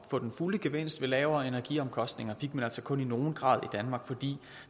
få den fulde gevinst ved lavere energiomkostninger fik man altså kun i nogen grad i danmark fordi